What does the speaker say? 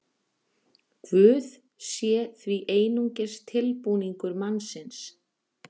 Guð sé því einungis tilbúningur mannsins.